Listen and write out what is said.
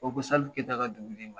Ko ko Salifu Kayita ka dɔnkili in man